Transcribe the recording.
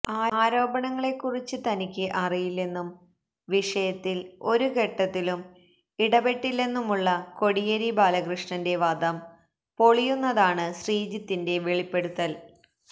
ആരോപണങ്ങളെ കുറിച്ച് തനിക്ക് അറിയില്ലെന്നും വിഷയത്തില് ഒരു ഘട്ടത്തിലും ഇടപെട്ടില്ലെന്നുമുള്ള കോടിയേരി ബാലകൃഷ്ണന്റെ വാദം പൊളിയുന്നതാണ് ശ്രീജിത്തിന്റെ വെളിപ്പെടുത്തല്